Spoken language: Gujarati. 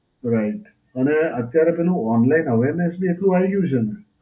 right. અને અત્યરે પેલું online awareness બી એટલું આઈ ગયું છે ને.